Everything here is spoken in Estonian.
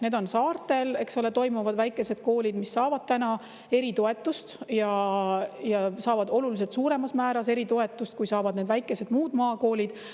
Need on saartel, kus toimivad väikesed koolid, mis saavad eritoetust ja saavad oluliselt suuremas määras eritoetust, kui saavad muud väikesed maakoolid.